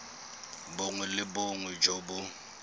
bongwe le bongwe jo bo